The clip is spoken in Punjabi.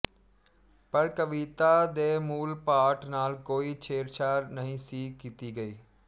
ਪਰ ਕਵਿਤਾ ਦੇ ਮੂਲ ਪਾਠ ਨਾਲ ਕੋਈ ਛੇੜਛਾੜ ਨਹੀਂ ਸੀ ਕੀਤੀ ਗਈ